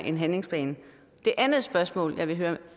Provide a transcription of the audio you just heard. en handlingsplan det andet spørgsmål jeg vil høre